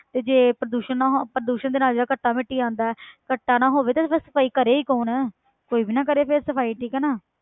ਤੇ ਪ੍ਰਦੂਸ਼ਣ ਨਾ ਹੋ~ ਪ੍ਰਦੂਸ਼ਣ ਦਾ ਯਾਰ ਘੱਟਾ ਮਿੱਟੀ ਆਉਂਦਾ ਹੈ ਘੱਟੇ ਨਾ ਹੋਵੇ ਤੇ ਫਿਰ ਸਫ਼ਾਈ ਕਰੇ ਹੀ ਕੌਣ ਕੋਈ ਵੀ ਨਾ ਕਰੇ ਫਿਰ ਸਫ਼ਾਈ ਠੀਕ ਹੈ ਨਾ